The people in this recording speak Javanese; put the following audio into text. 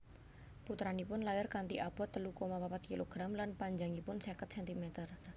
Putranipun lair kanthi abot telu koma papat kilogram lan panjangipun seket centimeter